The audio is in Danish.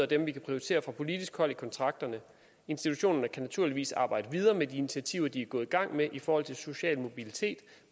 dem vi kan prioritere fra politisk hold i kontrakterne institutionerne kan naturligvis arbejde videre med de initiativer de er gået i gang med i forhold til social mobilitet